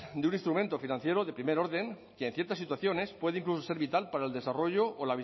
de un instrumento financiero de primer orden que en ciertas situaciones puede incluso ser vital para el desarrollo o